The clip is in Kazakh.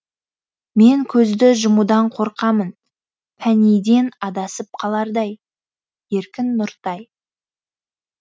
мен көзді жұмудан қорқамын пәнійден адасып қалардай еркін нұртай